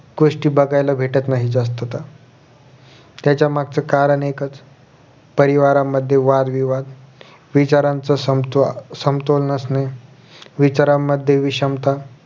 गोष्टी बघायला भेटत नाही जास्तता त्यांच्या मागचं कारण एकचं परिवारांमध्ये वादविवाद विचारांचं संतोह समतोल नसणे विचारांमध्ये विषमता